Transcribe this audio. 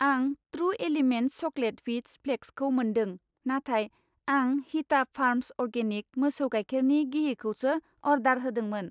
आं true elements chocolate wheat flakes खौ मोनदों, नाथाय आं हिता फार्म्स अरगेनिक मोसौ गायखेरनि गिहि खौसो अर्डार होदोंमोन।